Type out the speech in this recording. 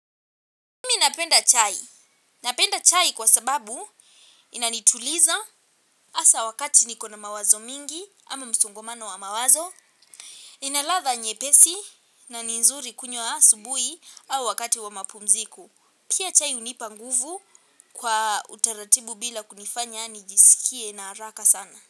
Mimi napenda chai, napenda chai kwa sababu inanituliza asa wakati nikona mawazo mingi ama msungomano wa mawazo, ina latha nyepesi na nzuri kunywa asubui au wakati wa mapumziku. Pia chai unipa nguvu kwa utaratibu bila kunifanya nijisikie na haraka sana.